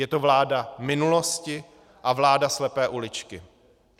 Je to vláda minulosti a vláda slepé uličky.